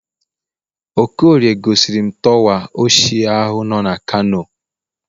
okorie gosirim torwa ochie ahu nọ na kano